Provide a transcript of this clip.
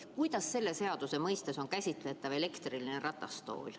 Kuidas on selle seaduse mõistes käsitletav elektriline ratastool?